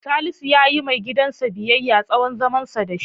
Salisu ya yiwa maigidansa biyayya, tsawon zamansa da shi.